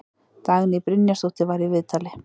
Dagný Brynjarsdóttir var í viðtali.